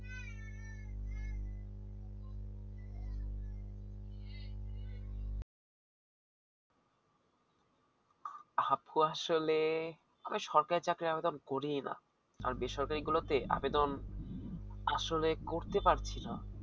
আপু আসলে আমি সরকারি চাকরির আবেদন করি না আর বেসরকারি গুলোতে আবেদন আসলে করতে পারছি না